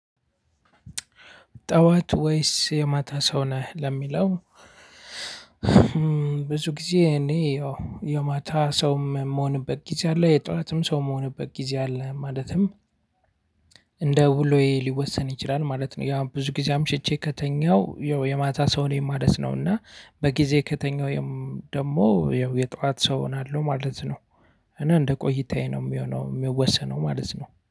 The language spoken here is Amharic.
ጠዋት ወይስ የማታ ሰው ነህ ለሚለው? ብዙ ጊዜ እኔ ያው የማታ ሰውም የምሆንበት ጊዜ አለ የጧትም ሰው የምሆንበት ጊዜ አለ። ማለትም እንደ ውሎዬ ሊወሰን ይችላል ማለት ነው። ያ ብዙ ጊዜ አምሽቼ ከተኛሁ የማታ ሰው ላይ ማለት ነው። እና በጊዜ ከተኛው ደግሞ የጠዋት ሰው እሆናለሁ ማለት ነው። እኔ እንደ ቆይታዬ ነው የሚሆነው የሚወሰነው ማለት ነው